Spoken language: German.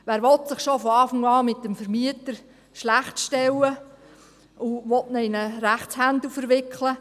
Wer will sich schon zu Beginn mit dem Vermieter schlecht stellen und diesen in einen Rechtsprozess verwickeln?